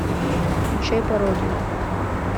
включай пародию